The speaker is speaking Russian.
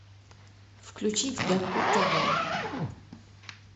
включить гакку тв